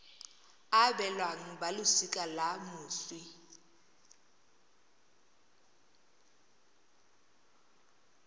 e abelwang balosika la moswi